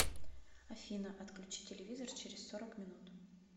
афина отключи телевизор через сорок минут